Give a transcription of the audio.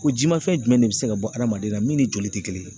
Ko ji ma fɛn jumɛn de bi se ka bɔ hadamaden na min ni joli te kelen ye.